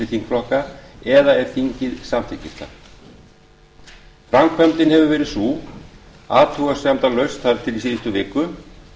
þingflokka eða ef þingið samþykkir það framkvæmdin hefur verið sú athugasemdalaust þar til í síðustu viku